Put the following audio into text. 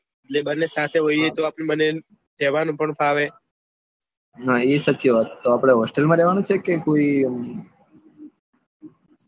એતે આપડે બંને સાથે હોય તો કેહાવાનું પણ ફાવે હા એ સાચી વાત તો આપડે hostel માં રેહવાનું કે કોઈ